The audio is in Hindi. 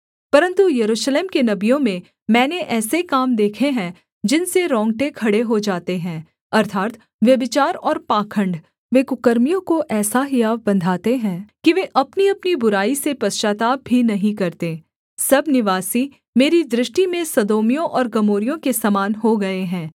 परन्तु यरूशलेम के नबियों में मैंने ऐसे काम देखे हैं जिनसे रोंगटे खड़े हो जाते हैं अर्थात् व्यभिचार और पाखण्ड वे कुकर्मियों को ऐसा हियाव बँधाते हैं कि वे अपनीअपनी बुराई से पश्चाताप भी नहीं करते सब निवासी मेरी दृष्टि में सदोमियों और गमोरियों के समान हो गए हैं